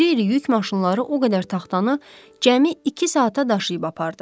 İri-iri yük maşınları o qədər taxtanı cəmi iki saata daşıyıb apardı.